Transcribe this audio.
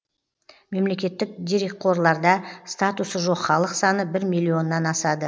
мемлекеттік дерекқорларда статусы жоқ халық саны бір миллионнан асады